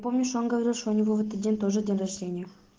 помнишь он говорит что у него в этот день тоже день рождения